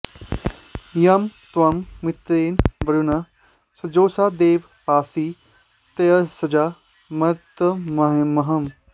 यं त्वं मित्रेण वरुणः सजोषा देव पासि त्यजसा मर्तमंहः